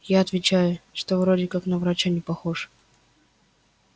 я отвечаю что вроде как на врача не похож